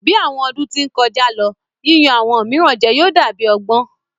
Bi awọn ọdun ti n kọja lo, yiyan awọn miiran jẹ yóò da bi ọgbọn